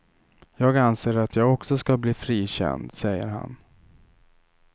Jag anser att jag också ska bli frikänd, säger han.